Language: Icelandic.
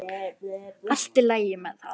Allt í lagi með hann.